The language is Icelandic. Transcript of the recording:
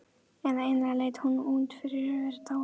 Eða eiginlega leit hún út fyrir að vera dáin.